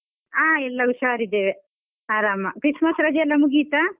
ಹಾ ಎಲ್ಲ ಉಷಾರ್ ಇದ್ದೇವೆ ಆರಾಮ, Christmas ರಜೆ ಎಲ್ಲ ಮುಗಿತಾ?